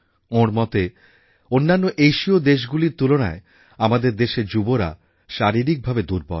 ওঁর মতে অন্যান্য এশিয় দেশগুলোর তুলনায় আমাদের দেশের যুবারা শারীরিকভাবে দুর্বল